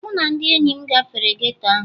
Mụ na ndị enyi m gafere geto ahụ